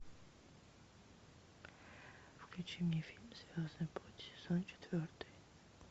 включи мне фильм звездный путь сезон четвертый